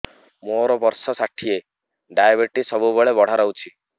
ମୋର ବର୍ଷ ଷାଠିଏ ଡାଏବେଟିସ ସବୁବେଳ ବଢ଼ା ରହୁଛି